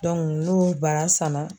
n'o bara sanna.